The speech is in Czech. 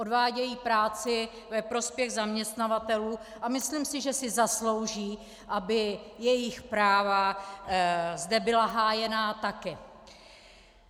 Odvádějí práci ve prospěch zaměstnavatelů a myslím si, že si zaslouží, aby jejich práva zde byla hájena také.